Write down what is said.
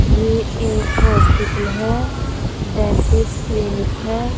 ये एक हॉस्पिटल है। डेंटिस्ट क्लिनिक है।